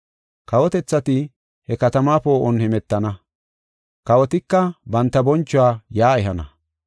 Kawotethati he katamaa poo7on hemetana; kawotika banta bonchuwa yaa ehana.